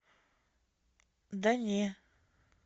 да не